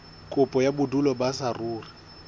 kopo ya bodulo ba saruri